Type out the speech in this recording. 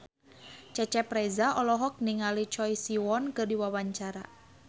Cecep Reza olohok ningali Choi Siwon keur diwawancara